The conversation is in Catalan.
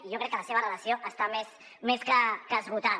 i jo crec que la seva relació està més que esgotada